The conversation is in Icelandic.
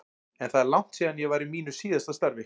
En það er langt síðan ég var í mínu síðasta starfi.